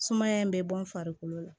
Sumaya in bɛ bɔ n farikolo la